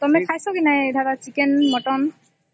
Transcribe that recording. ର୍ଟମେ ଖାଇସା କି ନାଇଁ ଦାଦା chicken mutton ?